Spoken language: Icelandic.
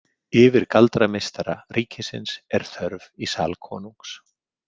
Yfirgaldrameistara ríkisins er þörf í sal konungs.